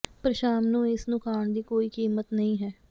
ਪਰ ਸ਼ਾਮ ਨੂੰ ਇਸ ਨੂੰ ਖਾਣ ਦੀ ਕੋਈ ਕੀਮਤ ਨਹੀਂ ਹੈ